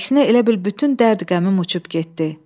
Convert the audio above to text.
Əksinə elə bil bütün dərd-qəmim uçub getdi.